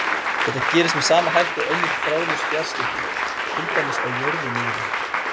Þetta gerist með sama hætti og önnur þráðlaus fjarskipti, til dæmis á jörðu niðri.